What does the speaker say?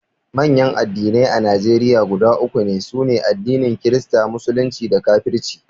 manyan addinai a Najeriya guda uku ne: sune addinin kirista, musulunci da kafirci